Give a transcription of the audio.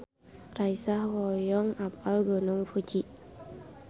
Raisa hoyong apal Gunung Fuji